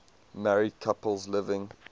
married couples living